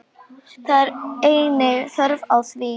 Það er engin þörf á því.